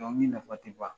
Dɔnkili nafa ti ban